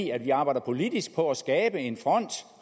i at vi arbejder politisk på at skabe en front